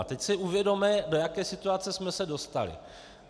A teď si uvědomme, do jaké situace jsme se dostali.